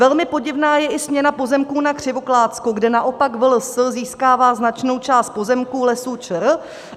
Velmi podivná je i směna pozemků na Křivoklátsku, kde naopak VLS získává značnou část pozemků Lesů ČR.